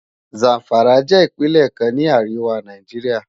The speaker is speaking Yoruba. Zamfara jè Ipinlè kán ni àriwá Náijiriá